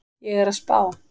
Ég er að spá.